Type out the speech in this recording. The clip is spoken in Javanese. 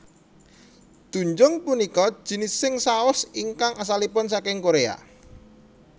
Doenjang punika jinising saos ingkang asalipun saking Korea